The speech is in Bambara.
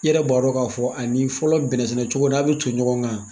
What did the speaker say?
I yɛrɛ b'a dɔ k'a fɔ ani fɔlɔ bɛnnɛsɛnɛcogo n'a bɛ ton ɲɔgɔn kan.